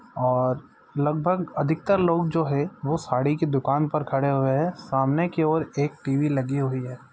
और लगभग अधिकतर लोग जो है वो साड़ी कि दुकान पर खड़े हुए है सामने की और एक टीवी लगी हुई है।